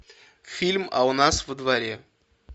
фильм а у нас во дворе